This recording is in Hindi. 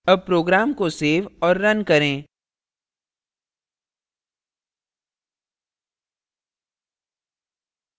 अब program को सेव और now करें